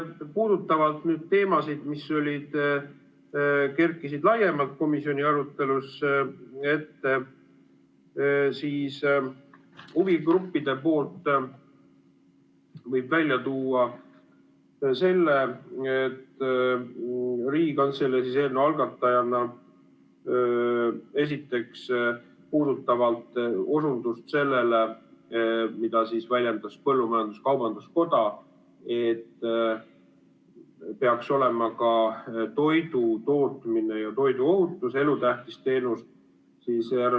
Puudutavalt teemasid, mis kerkisid laiemalt komisjoni arutelus esile, võib huvigruppide poolt välja tuua selle, et Riigikantselei eelnõu algatajana osundas sellele, mida väljendas põllumajandus-kaubanduskoda, et ka toidutootmine ja toiduohutus peaks olema elutähtis teenus.